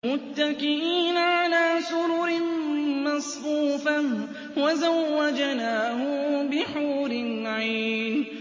مُتَّكِئِينَ عَلَىٰ سُرُرٍ مَّصْفُوفَةٍ ۖ وَزَوَّجْنَاهُم بِحُورٍ عِينٍ